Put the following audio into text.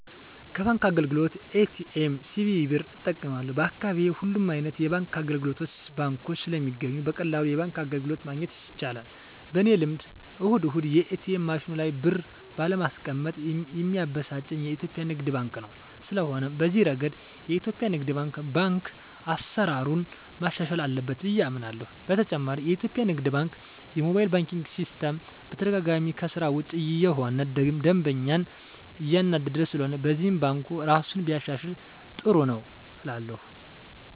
ከባንክ አገልግሎት ኤ.ቲ.ኤም፣ ሲቪ ብር እጠቀማለሁ፣ በአካባቢየ ሁሉም አይነት የባንክ አገልግሎቶችና ባንኮች ስለሚገኙ በቀላሉ የባንክ አገልግሎት ማግኘት ይቻላል። በኔ ልምድ እሁድ እሁድ የኤትኤም ማሽኑ ላይ ብር ባለማስቀመጥ ሚያበሳጨኝ የኢትዮጲያ ንግድ ባንክ ነው። ስለሆነም በዚህ እረገድ የኢትዮጲያ ንግድ ባንክ አሰራሩን ማሻሻል አለበት ብየ አምናለሆ። በተጨማሪም የኢትዮጲያ ንግድ ባንክ የሞባይል ባንኪን ሲስተም በተደጋጋሚ ከስራ ውጭ እየሆነ ደንበኛን እያናደደ ስለሆነም በዚህም ባንኩ እራሱን ቢያሻሽል ጥሩ ነው እላለሁ።